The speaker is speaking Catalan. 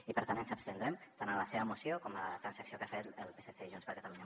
i per tant ens abstindrem tant a la seva moció com a la transacció que han fet el psc i junts per catalunya